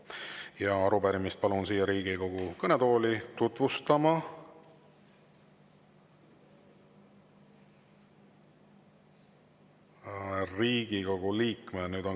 Ja arupärimist palun siia Riigikogu kõnetooli tutvustama Riigikogu liikme …